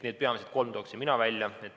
Need peamised kolm tooksin ma välja.